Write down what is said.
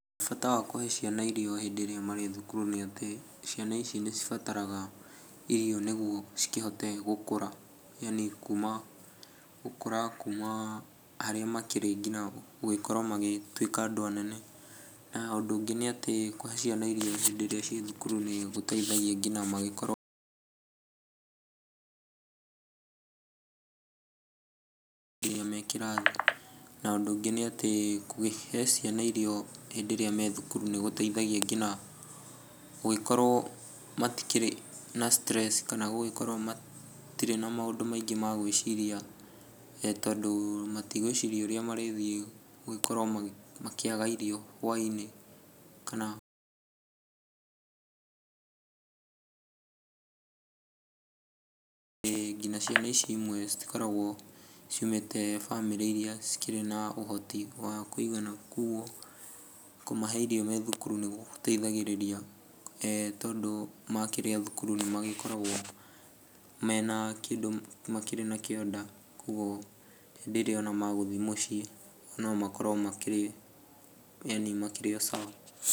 Bata wa kũhe ciana irio hĩndĩ ĩrĩa marĩ thukuru nĩ atĩ, ciana ici nĩcibataraga irio nĩguo cikĩhote gũkũra yaani kuma gũkũra kuma harĩa makĩrĩ nginya gũgĩkorwo magĩtuĩka andũ anene. Na ũndũ ũngĩ nĩatĩ, kũhe ciana irio hĩndĩ ĩrĩa ciĩ thukuru nĩgũteithagia nginya mangĩkorwo irio me kĩrathi. Na, ũndũ ũngĩ nĩatĩ kũhe ciana irio hĩndĩ ĩrĩa me thukuru nĩgũteithagia nginya gũgĩkorwo matikĩrĩ na stress kana gũgĩkorwo matirĩ na maũndũ maingĩ ma gwĩciria tondũ matigwĩcirai ũrĩa marĩthiĩ gũgĩkorwo makĩaga irio hwainĩ kana nginya ciana ici imwe citikoragwo ciumĩte bamĩrĩ iria cikĩrĩ na ũhoti wa kũigana kuoguo kũmahe irio me thukuru nĩgũteithagĩrĩria tondũ makĩrĩa thukuru nĩmakoragwo mena kĩndũ makĩrĩ nakĩo nda, kuoguo rĩrĩa ona magũthiĩ mũciĩ no makorwo makĩrĩ yaani makĩrĩ o sawa.